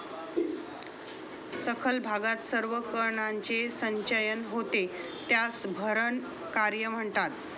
सखल भागात सर्व कणांचे संचयन होते त्यास भरण कार्य म्हणतात.